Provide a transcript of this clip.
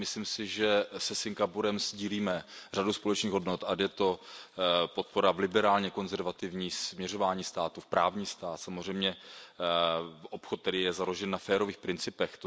Myslím si, že se Singapurem sdílíme řadu společných hodnot, ať je to podpora v liberálně konzervativní směřování státu, v právní stát, v obchod, který je založen na férových principech.